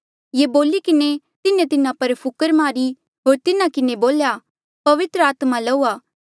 ये बोली किन्हें तिन्हें तिन्हा पर फुकर मारी होर तिन्हा किन्हें बोल्या पवित्र आत्मा लऊआ